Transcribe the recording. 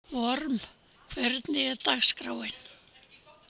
Vorm, hvernig er dagskráin?